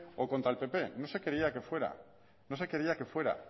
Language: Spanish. o contra el pp no se quería que fuera